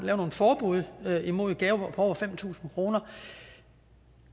lave et forbud mod gaver af over fem tusind kroner